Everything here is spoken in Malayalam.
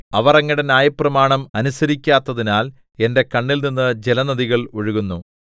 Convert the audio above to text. അവർ അങ്ങയുടെ ന്യായപ്രമാണം അനുസരിക്കാത്തതിനാൽ എന്റെ കണ്ണിൽ നിന്ന് ജലനദികൾ ഒഴുകുന്നു സാദെ